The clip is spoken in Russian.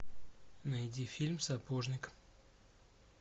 найди фильм сапожник